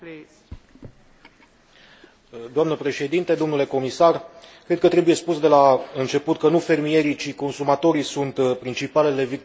Cred că trebuie spus de la început că nu fermierii, ci consumatorii sunt principalele victime ale crizei de care vorbim astăzi.